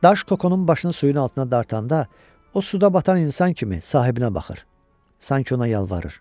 Daş Kokonun başını suyun altına dartanda, o suda batan insan kimi sahibinə baxır, sanki ona yalvarır.